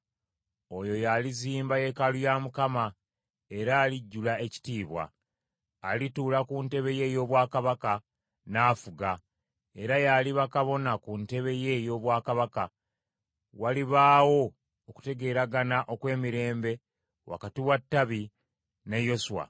Oyo y’alizimba yeekaalu ya Mukama , era alijjula ekitiibwa. Alituula ku ntebe ye ey’obwakabaka, n’afuga. Era y’aliba Kabona ku ntebe ye ey’obwakabaka; walibaawo okutegeeragana okw’emirembe wakati wa Ttabi ne Yoswa.’